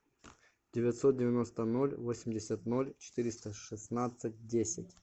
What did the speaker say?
девятьсот девяносто ноль восемьдесят ноль четыреста шестнадцать десять